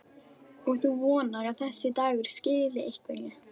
Og þú vonar að þessi dagur skili einhverju?